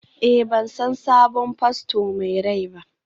Eh, ban san sabon fasto mai rai ba?